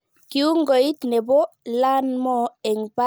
Kiungoit nebo 'Learn more' eng pagit netou komoboishe